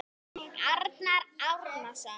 Arnar Árnason